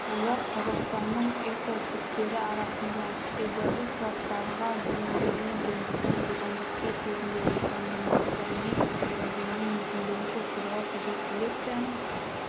олар қазақстанның экотиптері арасында эволюциялық дамыған бейімделген гендердің будандастыру кезінде рекомбинацияның бұзылуын мүмкіндігінше қорғау қажет селекцияның